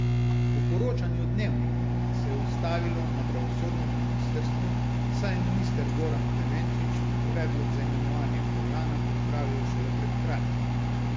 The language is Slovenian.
Po poročanju Dnevnika se je ustavilo na pravosodnem ministrstvu, saj je minister Goran Klemenčič predlog za imenovanje Furlana pripravil šele pred kratkim.